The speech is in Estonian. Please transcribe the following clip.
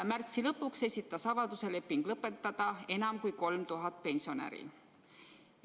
Märtsi lõpuks esitas avalduse leping lõpetada enam kui 3000 pensionäri.